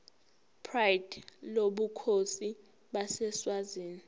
pride lobukhosi baseswazini